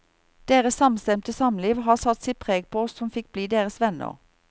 Deres samstemte samliv har satt sitt preg på oss som fikk bli deres venner.